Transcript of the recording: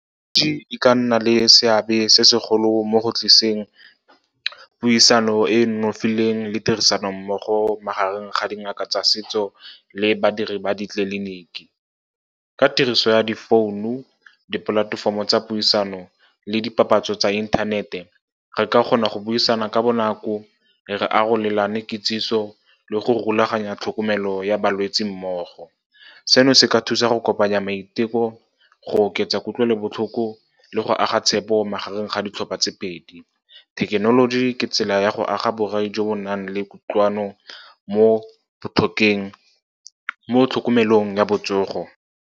E ka nna le seabe se segolo mo go tlisitseng puisano e e nonofileng le tirisano mmogo magareng ga dingaka tsa setso le badiri ba ditleliniki. Ka tiriso ya di founu, dipolatefomo tsa puisano le dipapatso tsa inthanete, re ka kgona go buisana ka bonako, re arolelana kitsiso le go rulaganya tlhokomelo ya balwetse mmogo. Seno se ka thusa go kopanya maiteko, go oketsa kutlwelobotlhoko le go aga tshepo magareng ga ditlhopha tse pedi. Thekenoloji ke tsela ya go aga borai jo bo nang le kutlwano mo tlhokomelong ya botsogo.